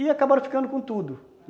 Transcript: E acabaram ficando com tudo.